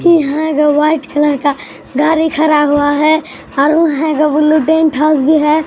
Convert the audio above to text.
ईहां एगो white colour का गाड़ी खरा हुआ है और उहां एगो ब्लू डेंट हाउस भी है।